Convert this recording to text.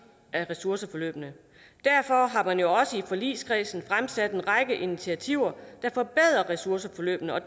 af ressourceforløbene derfor har man jo også i forligskredsen fremsat en række initiativer der forbedrer ressourceforløbene og